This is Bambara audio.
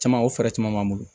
Caman o fɛɛrɛ caman b'an bolo